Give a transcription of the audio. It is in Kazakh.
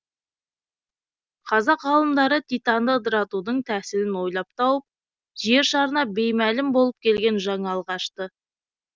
қазақ ғалымдары титанды ыдыратудың тәсілін ойлап тауып жер шарына беймәлім болып келген жаңалық ашты